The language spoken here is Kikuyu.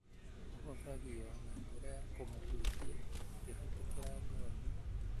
ũhũthagio na njĩra ya kũmũhutia ũkĩhĩtũkĩra ngothi,